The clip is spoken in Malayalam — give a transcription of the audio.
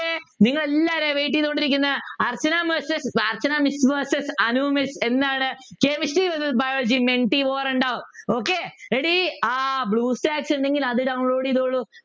നിങ്ങളെല്ലാവരും wait ചെയ്തുകൊണ്ടിരിക്കുന്ന Archana miss Archana mis verses Anu miss എന്താണ് chemistry verses biology ഉണ്ടാവും okay ready ആഹ് ബ്ലൂസ്റ്റാക്സ് ഉണ്ടെങ്കിൽ അത് download ചെയ്തോളു